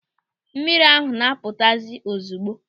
Mmiri ahụ na-apụtazi ozigbo.